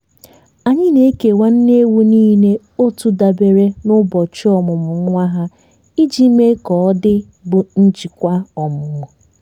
anyị na-ekewa nne ewu niile otu dabere na ụbọchị ọmụmụ nwa ha iji mee ka ọ dị bụ njịkwa ọmụmụ.